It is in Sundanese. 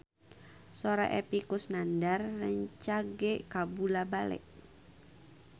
Sora Epy Kusnandar rancage kabula-bale